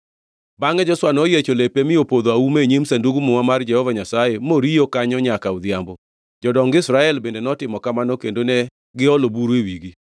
Bangʼe Joshua noyiecho lepe mi opodho auma e nyim Sandug Muma mar Jehova Nyasaye, moriyo kanyo nyaka odhiambo. Jodong Israel bende notimo kamano kendo ne giolo buru e wigi.